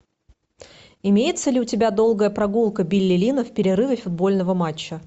имеется ли у тебя долгая прогулка билли линна в перерыве футбольного матча